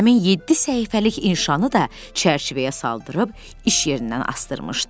Həmin yeddi səhifəlik inşanı da çərçivəyə saldırtıb iş yerindən asdırmışdı.